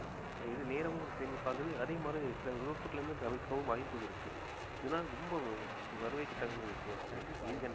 இது நேரமும் சேமிப்பாகுது அதே மாதிரி சில விபத்துகளிலிருந்து தவிர்க்கவும் வாய்ப்பு இருக்கு அதனால ரொம்ப வரவேற்கத்தகுந்த விஷயம் சதீஷ்